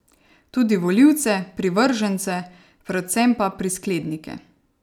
Tudi volivce, privržence, predvsem pa prisklednike.